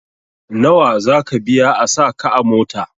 Nawa zaka biya a sa ka a mota?